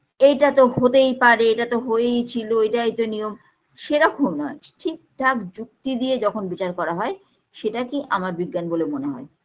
এইটাতো হতেই পারে এইটাতো হয়েই ছিল এইটাই তো নিয়ম সেরকম নয় ঠিক ঠাক যুক্তি দিয়ে যখন বিচার করা হয় সেটাকেই আমার বিজ্ঞান বলে মনে হয়